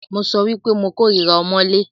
Mo sọ wípé mo kòrira ọmọ́lé.